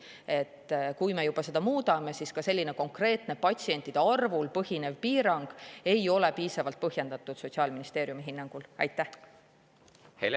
Kui me juba muudame, siis selline konkreetne patsientide arvul põhinev piirang ei ole Sotsiaalministeeriumi hinnangul piisavalt põhjendatud.